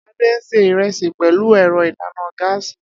Ade sè ìrẹsì pẹ̀lú ẹ̀rọ ìdáná gáàsì